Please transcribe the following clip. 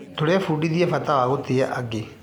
Tũrebundithia bata wa gũtĩa angĩ.